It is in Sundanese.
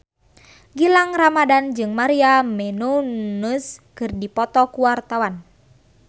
Gilang Ramadan jeung Maria Menounos keur dipoto ku wartawan